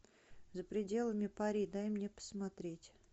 за пределами пари дай мне посмотреть